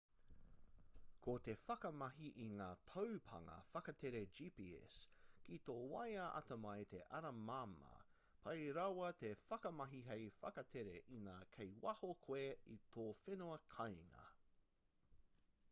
ko te whakamahi i ngā taupānga whakatere gps ki tō waea atamai te ara māmā pai rawa te whakamahi hei whakatere ina kei waho koe i tō whenua kāinga